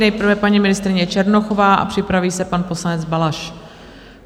Nejprve paní ministryně Černochová a připraví se pan poslanec Balaš.